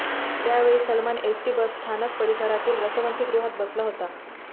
त्या वेळी सलमान एसटी बसस्थानक परिसरातील रसवंतीगृहात बसला होता